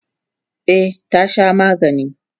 e tana Shan magani